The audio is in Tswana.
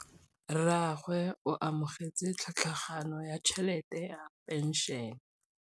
Rragwe o amogetse tlhatlhaganyô ya tšhelête ya phenšene.